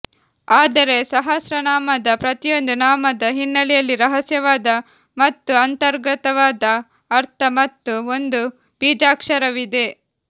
ಆದರೆ ಸಹಸ್ರನಾಮದ ಪ್ರತಿಯೊಂದು ನಾಮದ ಹಿನ್ನಲೆಯಲ್ಲಿ ರಹಸ್ಯವಾದ ಮತ್ತು ಅಂತರ್ಗತವಾದ ಅರ್ಥ ಮತ್ತು ಒಂದು ಬೀಜಾಕ್ಷರವಿದೆ